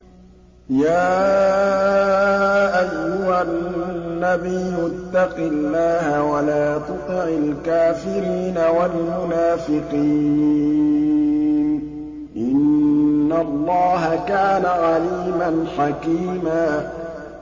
يَا أَيُّهَا النَّبِيُّ اتَّقِ اللَّهَ وَلَا تُطِعِ الْكَافِرِينَ وَالْمُنَافِقِينَ ۗ إِنَّ اللَّهَ كَانَ عَلِيمًا حَكِيمًا